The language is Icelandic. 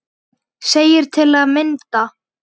segir til að mynda